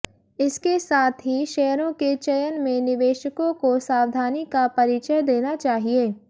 इसके साथ ही शेयरों के चयन में निवेशकों को सावधानी का परिचय देना चाहिए